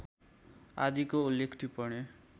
आदिको उल्लेख टिप्पणी